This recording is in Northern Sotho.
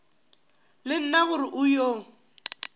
le nna gore o yo